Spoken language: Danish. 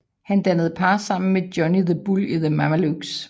Han dannede par sammen med Johnny the Bull i The Mamalukes